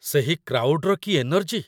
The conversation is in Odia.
ସେହି କ୍ରାଉଡ଼୍‌ର କି ଏନର୍ଜି !